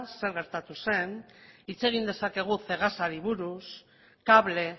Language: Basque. zer gertatu zen hitz egin dezakegu cegasari buruz cable